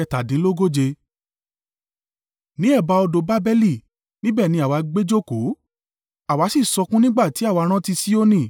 Ní ẹ̀bá odò Babeli, níbẹ̀ ni àwa gbé jókòó àwa sì sọkún nígbà tí àwa rántí Sioni.